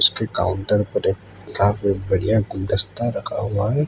एक काउंटर पर एक काफी बढ़िया गुलदस्ता रखा हुआ है।